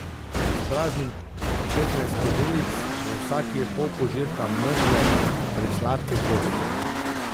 Izpraznim petnajst skodelic, v vsaki je pol požirka mrzle presladke gošče.